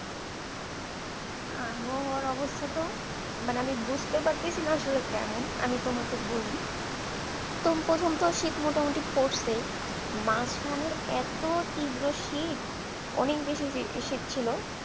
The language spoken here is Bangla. আবহাওয়ার অবস্থা তো মানে আমি বুঝতে পারতেছি না আসলে কেমন আমি তোমাকে বলি প্রথম প্রথম তো শীত মোটামুটি পড়ছে মাঝখানে এত তীব্র শীত অনেক বেশি শীত ছিল